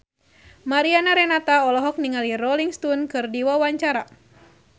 Mariana Renata olohok ningali Rolling Stone keur diwawancara